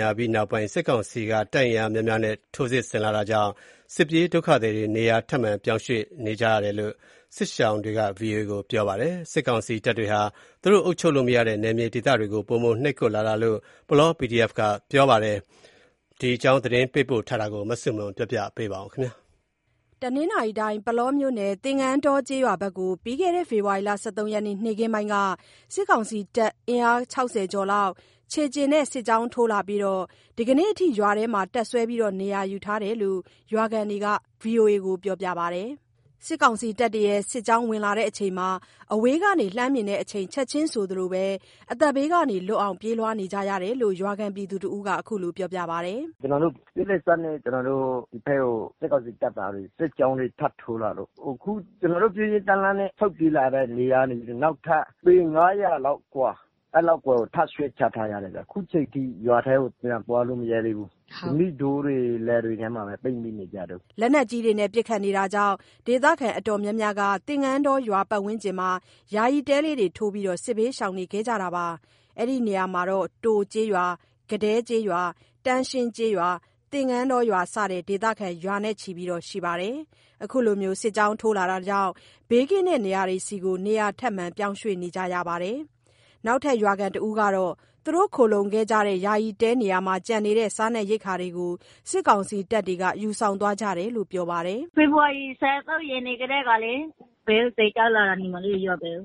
ညာပြီးနောက်ပိုင်း စစ်ကောင်စီတပ် အင်အားများများနဲ့ စစ်ကြောင်းထိုးလာတာကြောင့် စစ်ပြေးဒုက္ခသည်တွေ နေရာထပ်မံ ပြောင်းရွှေ့ ပြေးကြရတယ်လို့ စစ်ရှောင်တွေက VOA ကို ပြောပါတယ်။ စစ်ကောင်စီတပ်တွေဟာ သူတို့ အုပ်ချုပ်လို့မရတဲ့ နယ်မြေဒေသတွေကို ပိုမိုနှိပ်ကွပ်လာတာလို့ ပုလော PDF က ပြောဆိုပါတယ်။ ဒီအကြောင်း သတင်းပေးပို့ထားတာကို မဆုမွန်က တင်ပြပေးပါမယ်။ ပုလောမြို့နယ် သင်္ကန်းတောကျေးရွာဖက်ကို ပြီးခဲ့တဲ့ ဖေဖော်ရီလ ၁၃ ရက်နေ့ နေ့ခင်းပိုင်းက စစ်ကောင်စီတပ်တွေ အင်အား ၆၀ ကျော်လောက် ခြေလျင်နဲ့ စစ်ကြောင်းထိုးလာပြီး ဒီနေ့အထိ ရွာထဲမှာ တပ်စွဲ နေရာယူထားတယ်လို့ ရွာခံတွေက VOA ကို ပြောပါတယ်။ စစ်ကြောင်းလာစဉ် အဝေးကနေ လှမ်းမြင်တဲ့အချိန် ချက်ချင်းဆိုသလို အသက်ဘေးလွတ်အောင် ပြေးလွှားကြတာလို့ ရွာခံတစ်ဦးက ခုလို ပြောပါတယ်။ “ကျနော်တို့ ပြေးလက်စနဲ့ ကျနော်တို့ ဒီဖက်ကို စစ်ကောင်စီတပ်သားတွေ စစ်ကြောင်းတွေထပ်ထိုးလာလို့ အခုကျနော်တို့ ပြေးရင်းတန်းလန်းနဲ့ ဆုတ်ပြေးလာတဲ့နေရာကနေ နောက်ထပ် ပေ ၅၀၀ လောက်အကွာ အဲ့လောက်အကွာကို ထပ်ရွှေ့ကြရတယ်ဗျာ အခုချိန်ထိ ရွာထဲကို ပြန်သွားလို့မရဲသေးဘူး၊ ဓနိတောတွေ လယ်တွေထဲမှာပဲ ပိတ်မိနေကြတုန်။း” လက်နက်ကြီးတွေ ပစ်ခတ်မှုကြောင့် ဒေသခံအတော်များများက သင်္ကန်းတောရွာ ပတ်ဝန်းကျင်တွေမှာ ယာယီတဲထိုးပြီး စစ်ဘေးရှောင်နေခဲ့ကြတာပါ။ အဲ့ဒီနေရာမှာ တိုကျေးရွာ၊ ကဒဲကျေးရွာ၊ တန်းရှင်းကျေးရွာ သင်္ကန်းတောရွာစတဲ့ ဒေသခံ ရာချီရှိပါတယ်။ အခုလို စစ်ကြောင်းထိုးလာတာကြောင့် ဘေးကင်းတဲ့နေရာတွေဆီ နေရာထပ်မံ ပြောင်းရွှေ့ ကြရတာပါ။နောက်ထပ်ရွာခံတစ်ဦးကတော့ သူတို့ ခိုလှုံခဲ့ကြတဲ့ ယာယီတဲနေရာမှာ ကျန်နေတဲ့ စားရိက္ခာတွေကို စစ်ကောင်စီတပ်တွေ ယူဆောင်သွားကြတယ်လို့ ပြောပါတယ်။ “ဖေဖော်ဝါရီ ၁၃ ရက်နေ့ကတည်းကလေ စစ်ကြောင်းလာတာ ညီမလေးတို့ ရွာဘက်ကို